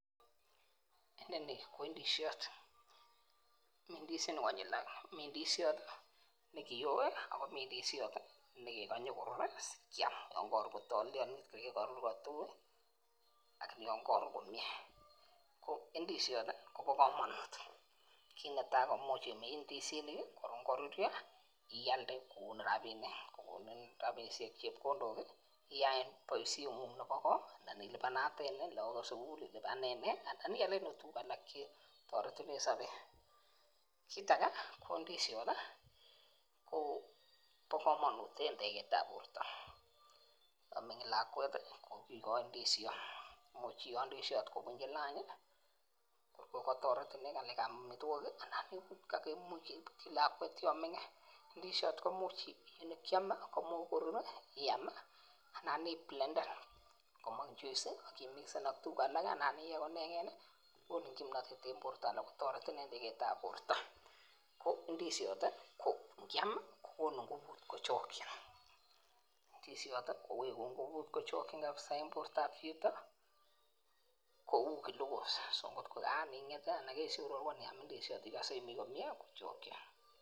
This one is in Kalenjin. Inoni ko ndishot mii ndisinik konyil oeng mii ndishot nekiyoe ak komii ndishot kekikony koruri sikiam yon Kotor kotolelionit koigee korur kotui lakini yon korur komie, ko ndishot tii Kobo komonut kit netai ko imuch imin ndisinik kii korun kororyo ialde kokonin rabinik kokonin rabinik chepkondok kii iyaen boishengung nebo koo an ilipananet lokokab sukul, ilipan nii ana ialen okot tukuk alak chetoretegee en sobet, kit age ko ndishot tii Kobo komonut en tegeteb borto, yon mioni lakwet tii ko kikoin ndishot much kokoi kobunchi lanchi kikotoret inee en ngalekab omitwokik anan kakimuch kebutyi lakwet yon mingin ndishot komuch nkiome komuch korur iami ana i plenden komong joice ak imikisen ak tukuk alak ana iyee ko ineken, kokonin kimnotet en borto ana kotoretin en teketab borto ko ndishot tii ko nikam kokonu ngubut kochokin. Ndishot kowekun ngubut kochokin kabisa en bortab chito kou glocuse kotko Karan inget tii anan Keshoror ko niam indishot ikose imii komie kochokin.